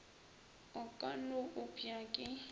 o ka no opša ke